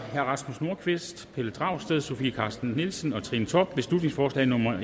rasmus nordqvist pelle dragsted sofie carsten nielsen og trine torp beslutningsforslag nummer